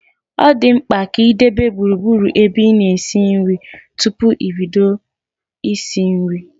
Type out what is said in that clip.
Ọ dị mkpa ị debe gburugburu ebe ị na esi nri tupu i bido isi nri